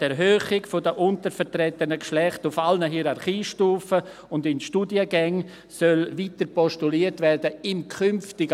im künftigen Leistungsvertrag solle die Erhöhung der untervertretenen Geschlechter auf allen Hierarchiestufen und in Studiengängen weiter postuliert werden.